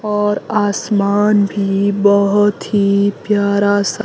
और आसमान भी बहोत ही प्यारा सा--